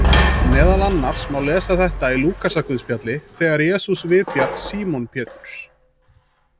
Meðal annars má lesa þetta í Lúkasarguðspjalli þegar Jesús vitjar Símon Péturs: